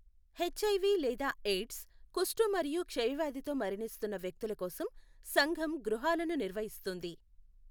HIV లేదా AIDS, కుష్టు మరియు క్షయవ్యాధితో మరణిస్తున్న వ్యక్తుల కోసం సంఘం గృహాలను నిర్వహిస్తుంది.